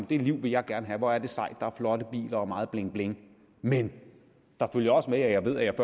det liv vil jeg gerne have hvor er det sejt der er flotte biler og meget bling bling men der følger også med at jeg ved at jeg